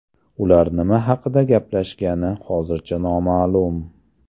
Ular nima haqida gaplashgani hozircha noma’lum.